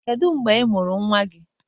Kedu mgbe ị mụrụ nnwa gị?